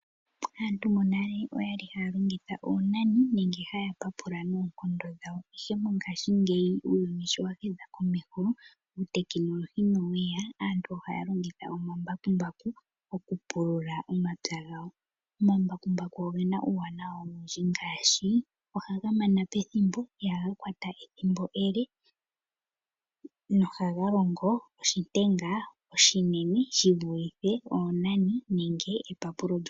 Aantu monale oyali haya longitha oonani nenge haya papula noonkondo dhawo ashike mongaashingeyi uuyuni sho wa hedha komeho uutekinolohi noweya. Aantu ohaya longitha omambakumbaku moku pulula omapya gawo . Omambakumbu ogena uuwanawa owundji ngaashi: ohaga mana pethimbo ,ihaga kwata ethimbo ele go ohaga longo oshilwa oshinene shivulithe oonani nenge epapulo lyoonyala.